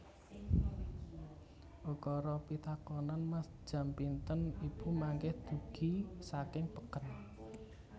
Ukara pitakonan Mas jam pinten ibu mangkih dugi saking peken